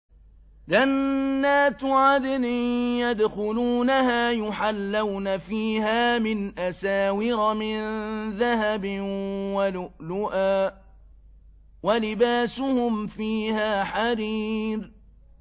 جَنَّاتُ عَدْنٍ يَدْخُلُونَهَا يُحَلَّوْنَ فِيهَا مِنْ أَسَاوِرَ مِن ذَهَبٍ وَلُؤْلُؤًا ۖ وَلِبَاسُهُمْ فِيهَا حَرِيرٌ